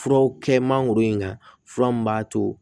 Furaw kɛ mangoro in kan fura min b'a to